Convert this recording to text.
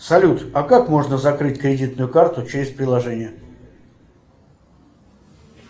салют а как можно закрыть кредитную карту через приложение